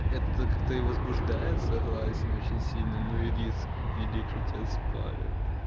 это как-то и возбуждает согласен очень сильно но и риск велик что тебя спалят